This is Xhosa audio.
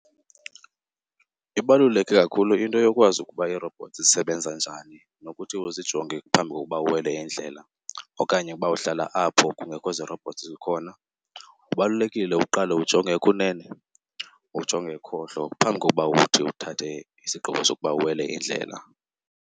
Ibaluleke kakhulu into yokwazi ukuba ii-robots zisebenza njani nokuthi uzijonge phambi kokuba uwele indlela. Okanye uba uhlala apho kungekho zi-robots zikhona, kubalulekile uqale ujonge ekunene, ujonge ekhohlo phambi koba uthi uthathe isigqibo sokuba uwele indlela.